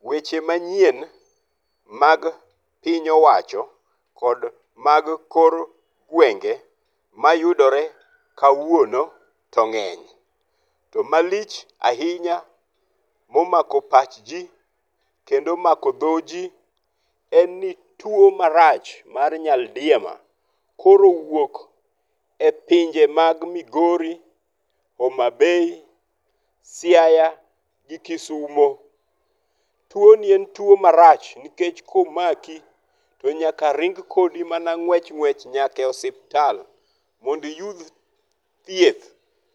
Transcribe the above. Weche manyien mag piny owacho kod mag kor gwenge mayudore kawuono to ng'eny. To malich ahinya momako pach ji kendo omako dho ji en ni tuo marach mar nyaldiema koro owuok e pinje mag Migori, Homabay, Siaya, gi Kisumo. Tuo ni en tuo marach nikech komaki to nyaka ring kodi mana ng'wech ng'wech nyaka e osiptal mondo iyud thieth.